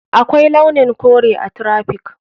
Akwai launin kore a traffic.